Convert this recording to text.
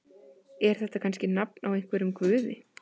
Er þetta kannski nafn á einhverjum guði?